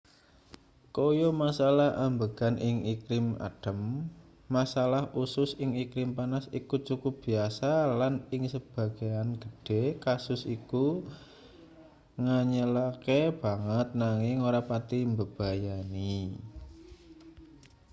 kaya masalah ambegan ing iklim adhem masalah usus ing iklim panas iku cukup biasa lan ing sebagean gedhe kasus iku nganyelake banget nanging ora pati mbebayani